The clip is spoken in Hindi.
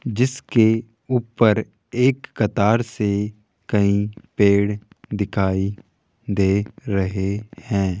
जिसके ऊपर एक कतार से कई पेड़ दिखाई दे रहे हैं।